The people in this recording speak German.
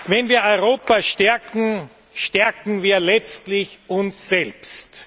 Wenn wir Europa stärken, stärken wir letztlich uns selbst.